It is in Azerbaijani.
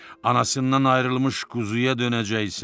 Anasından ayrılmış quzuya dönəcəksən.